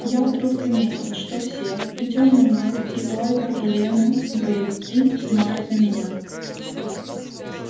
я вдруг заметил что все и тёмный маг и ольга и лена и боевики смотрят на меня